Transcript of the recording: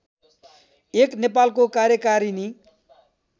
१ नेपालको कार्यकारिणी